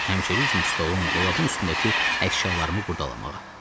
Həmişəki kimi stolun, dolabın üstündəki əşyalarımı qurdalamağa.